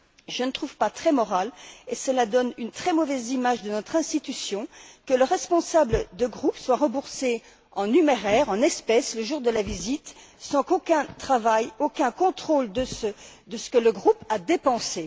Je ne trouve pas très moral, et cela donne une très mauvaise image de notre institution, que le responsable de groupe soit remboursé en numéraire, en espèces, le jour de la visite, sans aucun travail, aucun contrôle quant aux montants que le groupe a dépensés.